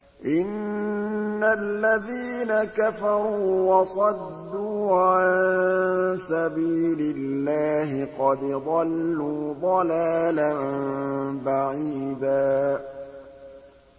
إِنَّ الَّذِينَ كَفَرُوا وَصَدُّوا عَن سَبِيلِ اللَّهِ قَدْ ضَلُّوا ضَلَالًا بَعِيدًا